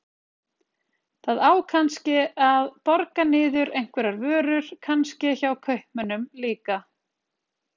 Það á kannske að borga niður einhverjar vörur, kannske hjá kaupmönnunum líka.